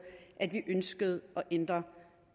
at vi ønskede at ændre